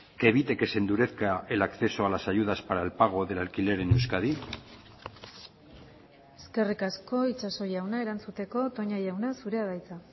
que evite que se endurezca el acceso a las ayudas para el pago del alquiler en euskadi eskerrik asko itxaso jauna erantzuteko toña jauna zurea da hitza